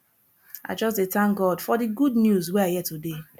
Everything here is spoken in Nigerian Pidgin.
i just dey tank god for di good news wey i hear today